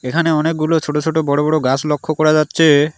এখানে অনেকগুলো ছোট ছোট বড় বড় গাস লক্ষ করা যাচ্ছে।